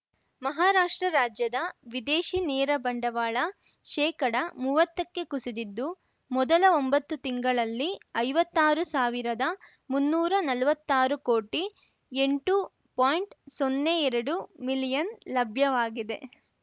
ಮಹಾರಾಷ್ಟ್ರ ರಾಜ್ಯದ ವಿದೇಶಿ ನೇರ ಬಂಡವಾಳ ಶೇಕಡ ಮುವತ್ತಕ್ಕೆ ಕುಸಿದಿದ್ದು ಮೊದಲ ಒಂಬತ್ತು ತಿಂಗಳಲ್ಲಿ ಐವತ್ತಾರು ಸಾವಿರದಮುನ್ನೂರ ನಲ್ವತ್ತಾರು ಕೋಟಿ ಎಂಟು ಪಾಯಿಂಟ್ಸೊನ್ನೆ ಎರಡು ಮಿಲಿಯನ್ ಲಭ್ಯವಾಗಿದೆ